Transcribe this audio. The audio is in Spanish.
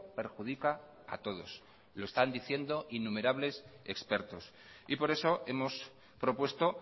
perjudica a todos lo están diciendo innumerables expertos y por eso hemos propuesto